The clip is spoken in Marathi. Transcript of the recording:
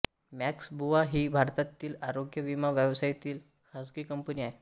मॅक्स बुपा ही भारतातील आरोग्य विमा व्यवसायातील खाजगी कंपनी आहे